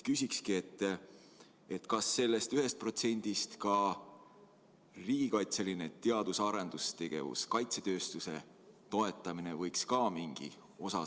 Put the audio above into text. Kas sellest 1%‑st võiks ka riigikaitseline teadus‑ ja arendustegevus, kaitsetööstus mingi osa saada?